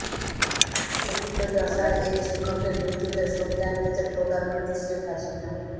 প্রথিতযশা এই শিক্ষকের মৃত্যুতে শোক জানিয়েছেন প্রধানমন্ত্রী শেখ হাসিনা